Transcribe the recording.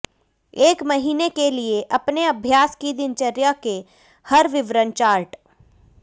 एक महीने के लिए अपने अभ्यास दिनचर्या के हर विवरण चार्ट